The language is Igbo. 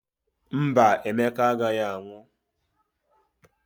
Mba, Emeka agaghị anwụ.